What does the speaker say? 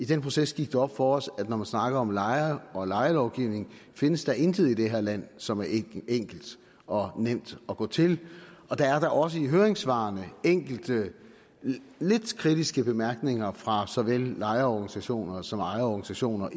den proces gik det op for os at når man snakker om lejere og lejelovgivning findes der intet i det her land som er enkelt og nemt at gå til og der er da også i høringssvarene enkelte lidt kritiske bemærkninger fra såvel lejerorganisationer som ejerorganisationer